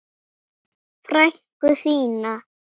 Frænku þína?